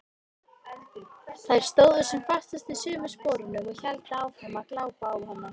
Þær stóðu sem fastast í sömu sporunum og héldu áfram að glápa á hana.